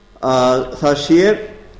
að það sé